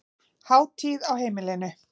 Hátíð á heimilinu